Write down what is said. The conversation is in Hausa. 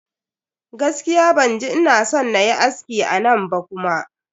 Gaskiya ban ji ina son nayi aski a nan ba kuma.